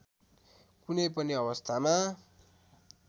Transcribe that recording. कुनै पनि अवस्थामा